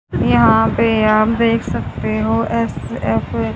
यहां पे आप देख सकते हो एफ_एफ --